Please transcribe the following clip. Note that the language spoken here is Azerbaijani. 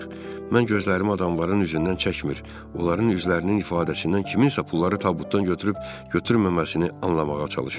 Mən gözlərimi adamların üzündən çəkmir, onların üzlərinin ifadəsindən kimsə pulları tabutdan götürüb-götürməməsini anlamağa çalışırdım.